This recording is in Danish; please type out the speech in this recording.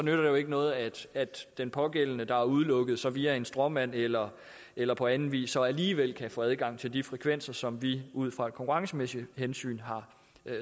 jo ikke noget at den pågældende der er udelukket så via en stråmand eller eller på anden vis alligevel kan få adgang til de frekvenser som vi ud fra et konkurrencemæssigt hensyn har